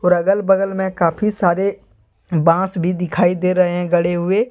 और अगल बगल में काफी सारे बॉस भी दिखाई दे रहे है गड़े हुए।